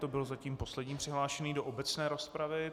To byl zatím poslední přihlášený do obecné rozpravy.